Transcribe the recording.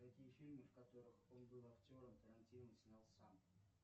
какие фильмы в которых он был актером тарантино снял сам